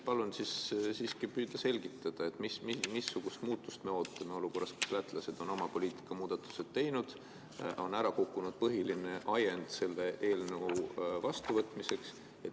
Palun siiski püüda selgitada, missugust muutust me ootame olukorras, kus lätlased on oma poliitikamuudatused teinud ja on ära kukkunud põhiline ajend selle seaduse vastuvõtmiseks.